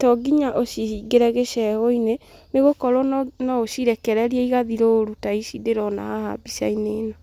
to nginya ũcihingĩre gĩcegũ-inĩ, nĩ gũkorwo no ũcirekererie igathiĩ rũru ta ici ndĩrona haha mbica-inĩ ĩno.